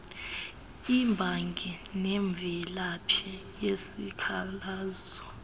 imbangi nemvelaphi yesikhalazo